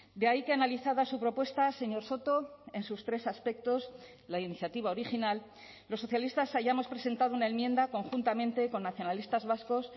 de ahí que analizada su propuesta señor soto en sus tres aspectos la iniciativa original los socialistas hayamos presentado una enmienda conjuntamente con nacionalistas vascos